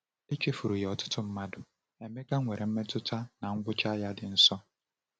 Echefuru ya ọtụtụ mmadụ, Emeka nwere mmetụta na ngwụcha ya dị nso.